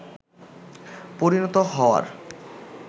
পরিণত হওয়ার